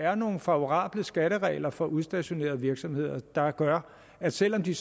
er nogle favorable skatteregler for udstationerede virksomheder der gør at selv om de